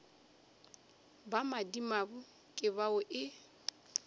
ba madimabe ke bao e